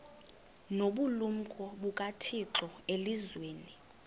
nobulumko bukathixo elizwini